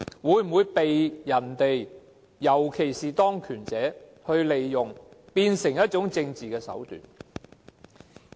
它會否被人所利用，變成一種政治手段？